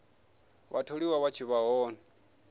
vhatholiwa vha tshi vha hone